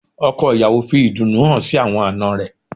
Ọkọ̀ ìyàwó fi ìdùnnú hàn sí àwọn àná rẹ̀